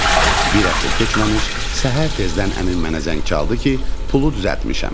Bir həftə keçməmiş, səhər tezdən əmim mənə zəng çaldı ki, pulu düzəltmişəm.